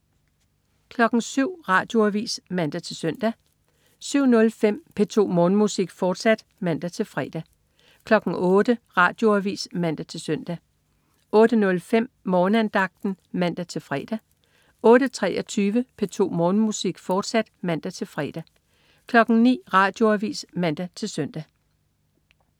07.00 Radioavis (man-søn) 07.05 P2 Morgenmusik, fortsat (man-fre) 08.00 Radioavis (man-søn) 08.05 Morgenandagten (man-fre) 08.23 P2 Morgenmusik, fortsat (man-fre) 09.00 Radioavis (man-søn)